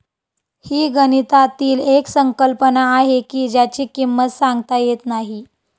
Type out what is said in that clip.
हि गणितातील एक संकल्पना आहे की ज्याची किंमत सांगता येत नाही